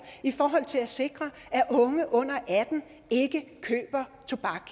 i forhold til at sikre at unge under atten år ikke køber tobak